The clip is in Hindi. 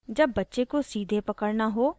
जब बच्चे को सीधे पकड़ना हो और